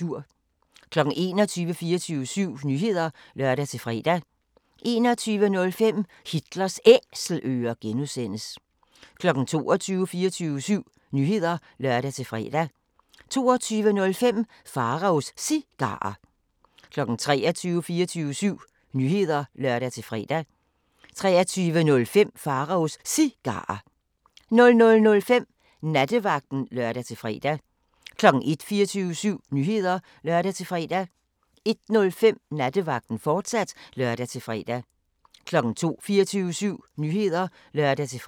21:00: 24syv Nyheder (lør-fre) 21:05: Hitlers Æselører (G) 22:00: 24syv Nyheder (lør-fre) 22:05: Pharaos Cigarer 23:00: 24syv Nyheder (lør-fre) 23:05: Pharaos Cigarer 00:05: Nattevagten (lør-fre) 01:00: 24syv Nyheder (lør-fre) 01:05: Nattevagten, fortsat (lør-fre) 02:00: 24syv Nyheder (lør-fre)